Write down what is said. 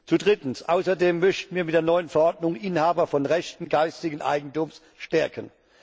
Zu drittens Außerdem möchten wir mit der neuen Verordnung Inhaber von Rechten geistigen Eigentums stärken.